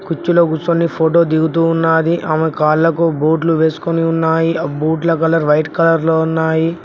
కుర్చీలో కుచోని ఫోటో దిగుతూ ఉన్నాది ఆమె కాళ్ళకు బూట్లు వేసుకొని ఉన్నాయి ఆ బూట్ల కలర్ వైట్ కలర్ లో ఉన్నాయి.